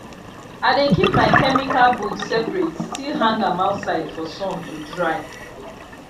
i dey keep my chemical boot separate still hang am outside for sun to dry